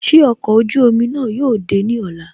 Ṣé ọkọ̀ ojú omi náà yóò dé ní ọ̀la